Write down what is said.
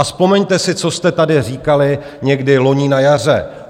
A vzpomeňte si, co jste tady říkali někdy loni na jaře.